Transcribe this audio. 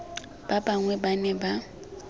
ba bangwe ba ne ba